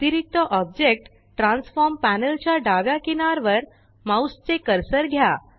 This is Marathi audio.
अतिरिक्त ऑब्जेक्ट ट्रॅन्सफॉर्म पॅनल च्या डाव्या किनार वर माउस चे कर्सर घ्या